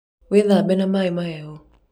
wĩthabe na maĩ mahehũ